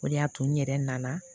O de y'a to n yɛrɛ nana